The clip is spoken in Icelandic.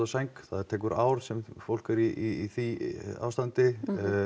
sæng það tekur ár sem fólk er í því ástandi